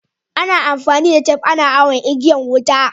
Ana amfani da tep ana awon igiyan wuta.